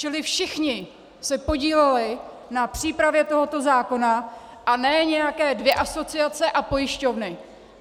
Čili všichni se podíleli na přípravě tohoto zákona, a ne nějaké dvě asociace a pojišťovny.